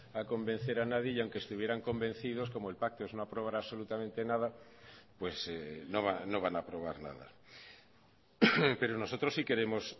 a convencer a nadie y aunque estuvieran convencidos como el pacto es no aprobar absolutamente nada pues no van a aprobar nada pero nosotros sí queremos